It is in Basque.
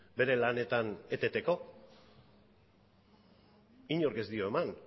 bere lanetan eteteko inork ez dio eman